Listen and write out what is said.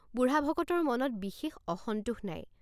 বুঢ়া ভকতৰ মনত বিশেষ অসন্তোষ নাই।